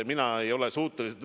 Mina ei ole selleks suuteline ...